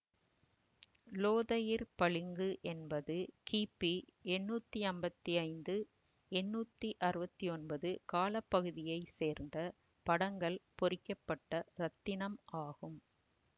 லோதயிர் பளிங்கு என்பது கிபி எண்ணூத்தி அம்பத்தி ஐந்து எண்ணூத்தி அறுவத்தி ஒன்பது கால பகுதியை சேர்ந்த படங்கள் பொறிக்க பட்ட இரத்தினம் ஆகும்